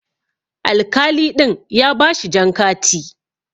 Alkali ɗin ya bashi jan kati.